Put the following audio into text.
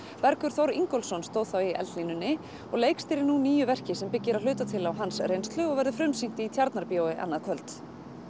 Bergur Þór Ingólfsson stóð þá í eldlínunni og leikstýrir nú nýju verki sem byggir að hluta til á hans reynslu og verður frumsýnt í Tjarnarbíói annað kvöld